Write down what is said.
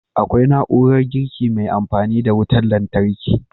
Akwai na'urar girki mai amfani da wutan lantarki